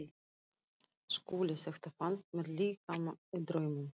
SKÚLI: Þetta fannst mér líka- í draumnum.